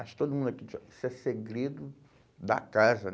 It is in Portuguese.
Acho todo mundo aqui, ó isso é segredo da casa.